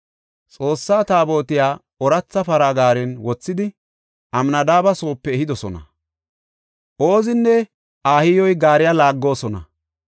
Xoossa Taabotiya ooratha para gaaren wothidi, Amnadaabe soope ehidosona; Oozinne Ahiyoy gaariya laaggoosona.